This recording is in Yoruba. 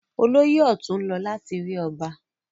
Olóyè ọ̀tún ń lọ láti rí ọba.